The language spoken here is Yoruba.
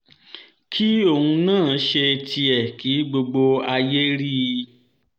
kí òun náà ṣe tiẹ̀ kí gbogbo ayé rí i